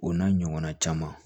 O n'a ɲɔgɔnna caman